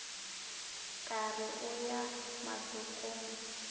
ka re o ya mahlokong